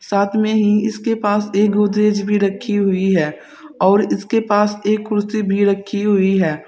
साथ में ही इसके पास एक गोदरेज भी रखी हुई है और इसके पास एक कुर्सी भी रखी हुई है।